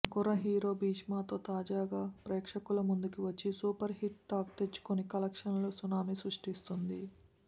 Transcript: కుర్ర హీరో భీష్మతో తాజాగా ప్రేక్షకుల ముందుకి వచ్చి సూపర్ హిట్ టాక్ తెచ్చుకొని కలెక్షన్స్ సునామీ సృష్టిస్తుంది